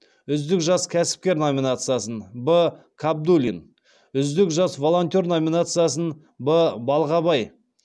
үздік жас кәсіпкер номинациясын б кабдуллин үздік жас волонтер номинациясын б балғабай